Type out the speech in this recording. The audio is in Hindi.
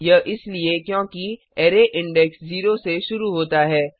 यह इसलिए क्योंकि अरै इंडेक्स 0 से शुरू होता है